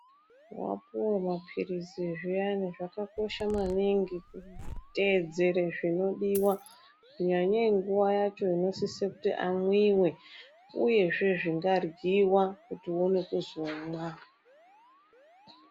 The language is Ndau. Wapuwe maphirizi zviyani zvakakosha maningi kuteedzere zvinodiwa kunyanye nguwa yacho inosise kuti amwiwe uyezve zvinga ryiwa kuti uone kuzomwa.